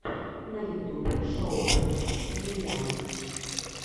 на ютубе шоу бэд комедиан